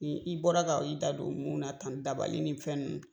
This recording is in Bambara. Ni i bɔra ka i da don mun na tan dabali ni fɛn nunnu.